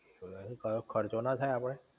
ખર્ચો ના થાઈ આપડે?